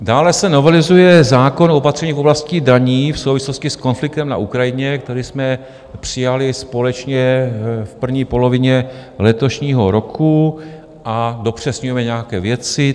Dále se novelizuje zákon o opatřeních v oblasti daní v souvislosti s konfliktem na Ukrajině, který jsme přijali společně v první polovině letošního roku, a dopřesňujeme nějaké věci.